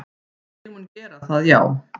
Ég mun gera það já,